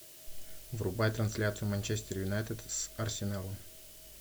врубай трансляцию манчестер юнайтед с арсеналом